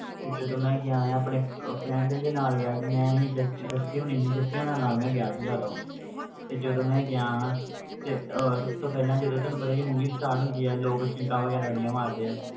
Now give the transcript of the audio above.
ਤੇ ਜਦੋਂ ਮੈਂ ਗਿਆ ਹਾਂ ਆਪਣੇ ਅਹ friend ਦੇ ਨਾਲ ਗਿਆ ਸੀ ਮੈਂ ਸੀ ਜੱਸ~ ਜੱਸੀ ਹੋਣੀ ਸੀ ਜੱਸੀ ਹੋਣਾਂ ਨਾਲ ਮੈਂ ਗਿਆ ਸੀਗਾ ਉਦੋਂ ਤੇ ਜਦੋਂ ਮੈਂ ਗਿਆ ਤੇ ਉਹ ਸਭ ਤੋਂ ਪਹਿਲਾਂ ਜਦੋਂ ਤੁਹਾਨੂੰ ਪਤਾ ਹੀ ਆ movie start ਹੁੰਦੀ ਆ ਲੋਕ ਚੀਕਾਂ ਵਗ਼ੈਰਾ ਬੜੀਆਂ ਮਾਰਦੇ ਆ,